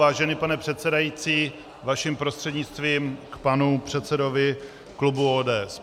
Vážený pane předsedající, vaším prostřednictvím k panu předsedovi klubu ODS.